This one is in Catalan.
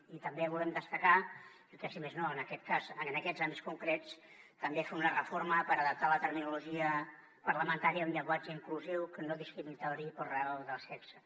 i també volem destacar que si més no en aquests àmbits concrets també fer una reforma per adaptar la terminologia parlamentària a un llenguatge inclusiu que no discrimini per raó de sexe